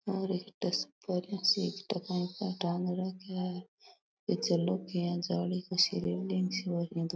और एक सी टांग रखे है पीछे --